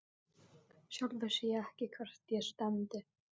Sjálf vissi ég ekkert hvert ég stefndi.